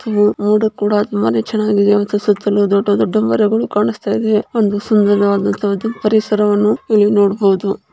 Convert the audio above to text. ಮೋಡ ಕೂಡ ತುಂಬಾ ಚೆನ್ನಾಗಿದೆ ಸುತ್ತಲೂ ದೊಡ್ಡ ದೊಡ್ಡ ಮರಗಳು ಕಾಣಿಸ್ತಾ ಇದೆ ಒಂದು ಸುಂದರವಾದಂತ ಪರಿಸರವನ್ನು ಇಲ್ಲಿ ನೋಡಬಹುದು